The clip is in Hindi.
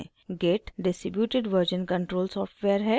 git distributed version control software है